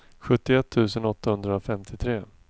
sjuttioett tusen åttahundrafemtiotre